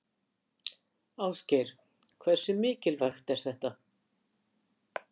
Ásgeir: Hversu mikilvægt er þetta?